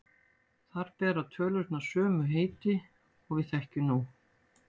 Þar bera tölurnar sömu heiti og við þekkjum nú.